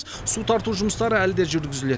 су тарту жұмыстары әлі де жүргізіледі